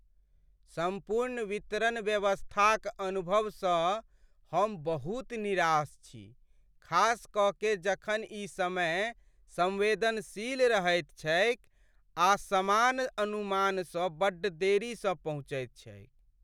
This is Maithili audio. सम्पूर्ण वितरण व्यवस्था क अनुभव स हम बहुत निराश छी खास क के जखन इ समय संवेदनशील रहैत छैकआ सामान अनुमान स बड्ड देरी स पहुँचैत छैक।